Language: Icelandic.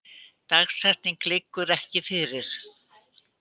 Dagsetning liggur ekki fyrir